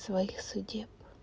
своих судеб